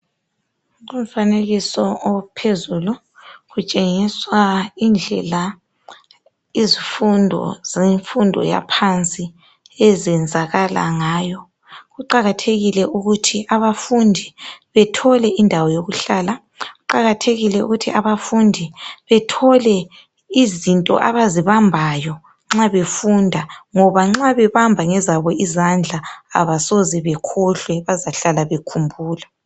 Umfanekiso ophezulu utshengisa indlela izifundo zemfundo yaphansi ezenzakala ngayo. Kuqakathekile ukuthi abafundi bethole indawo yokuhlala. Kuqakathekile ukuthi abafundi bethole izinto abazibambayo nxa befunda ngoba nxa behamba ngezabo izandla abasoze bakhohlwe bazabe hlala bekhumbula.